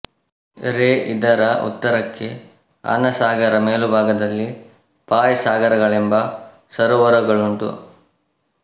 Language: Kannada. ರೇ ಇದರ ಉತ್ತರಕ್ಕೆ ಆನಾಸಾಗರ ಮೇಲುಭಾಗದಲ್ಲಿ ಫಾಯ್ ಸಾಗರಗಳೆಂಬ ಸರೋವರಗಳುಂಟು